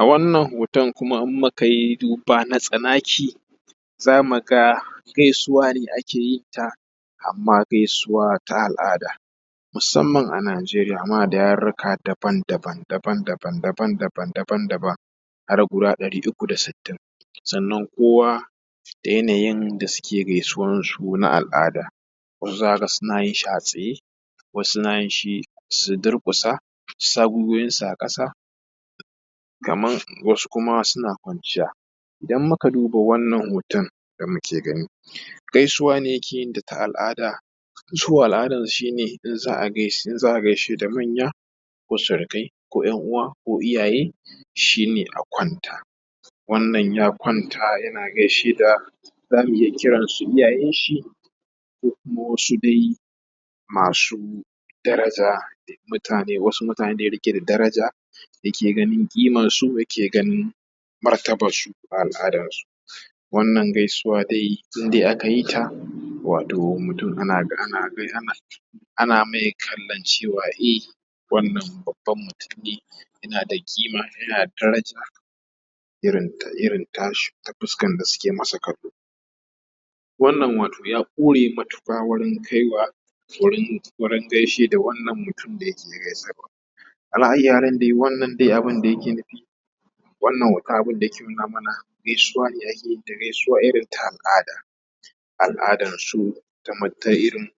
A wannan hoton kuma in muka yi duba na tsanaki, za mu ga gaisuwa ne ake yinta amma gaisuwa ta al’ada. Musamman a Nigeria muna da yarurruka daban daban daban daban daban daban daban daban har guda ɗari uku da sittin, sannan kowa da yanayin da suke gaisuwansu na al’ada. Wasu za ka ga suna yin shi a tsaye, wasu na yin shi su durƙusa su sa gwiwowinsu a ƙasa, kamar wasu kuma suna kwanciya, idan muka duba wannan hoton da muke gani gaisuwa ne yake yinta na al’ada. Su a al’adansu shi ne in za a gais gaishe da manya ko surukai ko ‘yan uwa ko iyaye shi ne a kwanta. Wannan ya kwanta yana gaishe da zamu iya kiran su iyayenshi, ko kuma wasu dai masu daraja da mutane wasu mutane da ya riƙe da daraja yake ganin ƙimansu, yake ganin martabarsu a al’adansu, wannan gaisuwa dai in dai aka yi ta, wato mutum ana mai kallon cewa e, wannan babban mutum ne, yana da ƙima yana da daraja irin ta irin tashi ta fuskar da suke masa kallo. Wannan wato ya ƙure matuƙa wurin kai wa wurin gaishe da wannan mutum da yake gaisarwa, ala ayyi halin dai wannan dai abin da yake nufi, wannan hoton abin da yake nuna mana gaisuwa ne ake yin ta gaisuwa irin ta al'ada, al’adarsu ta mutan irin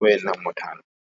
wannan mutanen.